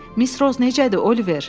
Miss Roz necədir, Oliver?